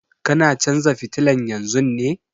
Kana canza fitilan yanzun ne?